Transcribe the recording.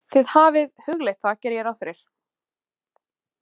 Þið hafið hugleitt það, geri ég ráð fyrir?